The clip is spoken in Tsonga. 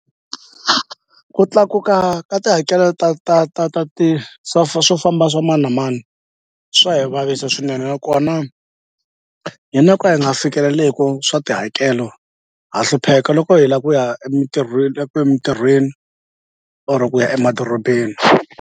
Ku tlakuka ka tihakelo ta ta ta ta ti swo famba swa mani na mani swa hi vavisa swinene nakona hina ka hi nga fikeleleku swa tihakelo ha hlupheka loko hi la ku ya emintirhweni emintirhweni or ku ya emadorobeni.